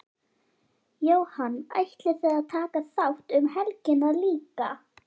Jóhann: Ætlið þið að taka þátt um helgina líka?